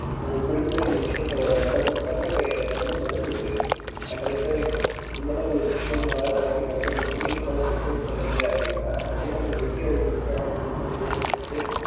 அது குறிப்பிட்ட இந்த விஷயம் so நடக்கதுக்கான இப்போ அந்த மாதிரி நடந்துருக்கு ந correct ஆஹ் இந்த மாதிரி ஒரு விஷயம் வாழ்கையில நடக்கும் இந்த மாதிரி business பண்ணிங்க அப்படினா கண்டிப்பா நீங்க வெற்றி அடைவிங்க அப்டின்னு சொல்லிட்டு ஒரு ஜோசியர் சொன்னாரு